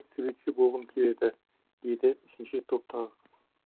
суретші болғым келеді деді үшінші топтағы қыз